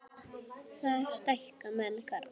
Þar stækka menn garða.